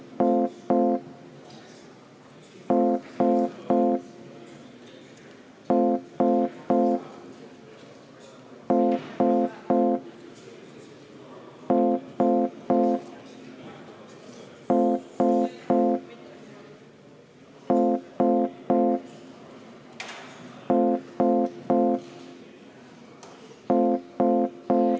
Ma palun seda muudatusettepanekut hääletada!